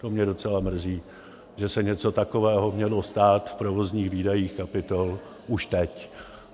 To mě docela mrzí, že se něco takového mělo stát v provozních výdajích kapitol už teď.